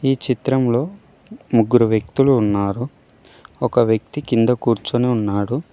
ఈ చిత్రం లో ముగ్గురు వ్యక్తులు ఉన్నారు ఒక వ్యక్తి కింద కూర్చుని ఉన్నాడు.